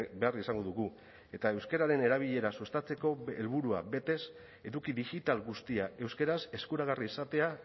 behar izango dugu eta euskararen erabilera sustatzeko helburua betez eduki digital guztia euskaraz eskuragarri izatea